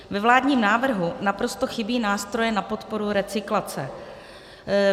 Ve vládním návrhu naprosto chybí nástroje na podporu recyklace.